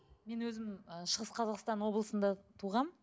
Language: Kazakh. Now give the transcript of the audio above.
мен өзім ы шығыс қазақстан облысында туғанмын